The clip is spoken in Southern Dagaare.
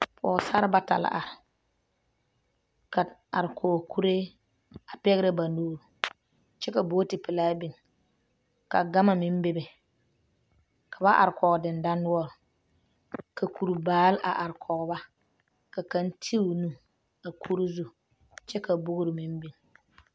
pɔgesarre bata la are, a are kɔɔ kuree, a pɛgerɛ ba nuuri kyɛ ka booti pelaa biŋ ka gama meŋ bebe ka ba are kɔɔ dendanoɔre ka kurdaare a are kɔɔ ba ka kaŋ ti o nu a kur zu kyɛ ka booro meŋ biŋ.